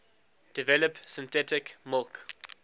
develop synthetic milk